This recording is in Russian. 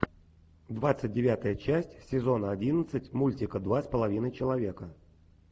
двадцать девятая часть сезона одиннадцать мультика два с половиной человека